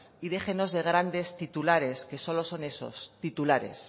y déjenos de grandes titulares que solo son eso titulares